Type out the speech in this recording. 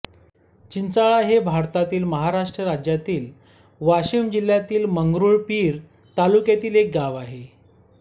चिंचाळा हे भारतातील महाराष्ट्र राज्यातील वाशिम जिल्ह्यातील मंगरुळपीर तालुक्यातील एक गाव आहे